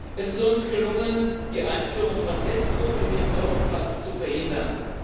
Es ist uns gelungen, die Einführung von ESCO in den Europass zu verhindern.